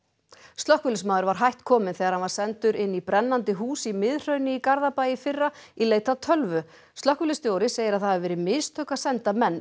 slökkviliðsmaður var hætt kominn þegar hann var sendur inn í brennandi hús í Miðhrauni í Garðabæ í fyrra í leit að tölvu slökkviliðsstjóri segir að það hafi verið mistök að senda menn